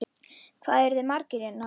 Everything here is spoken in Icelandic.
Hvað eruð þið margir hérna?